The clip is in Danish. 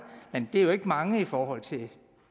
men det er jo ikke mange i forhold til